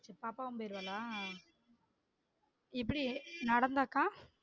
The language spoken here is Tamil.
பாப்பாவும் போய்ராலா? எப்படி நடந்தாக்கா?